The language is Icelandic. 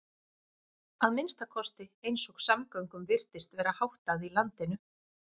Að minnsta kosti eins og samgöngum virtist vera háttað í landinu.